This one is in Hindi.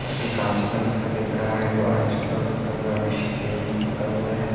कांच वांच का दिख रहा है ऑरेंज ब्लू पुता हुआ है नीचे पेंट पुता हुआ है।